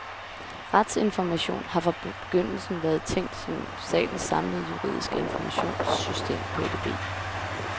Retsinformation har fra begyndelsen været tænkt som statens samlede juridiske informationssystem på edb.